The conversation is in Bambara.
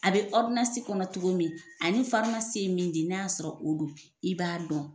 A be ɔridonansi kɔnɔ cogo min ani farimasi ye min di n'a y'a sɔrɔ o do i b'a dɔn